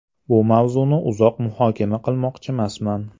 Bu mavzuni uzoq muhokama qilmoqchimasman.